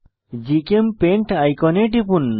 GChemPaint আইকনে টিপুন